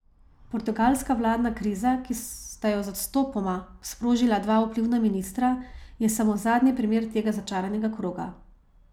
Portugalska vladna kriza, ki sta jo z odstopoma sprožila dva vplivna ministra, je samo zadnji primer tega začaranega kroga.